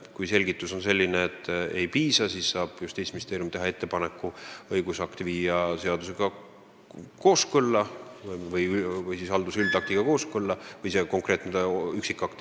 Kui selgitusest ei piisa, siis saab Justiitsministeerium teha ettepaneku viia konkreetne üksikakt seadusega kooskõlla.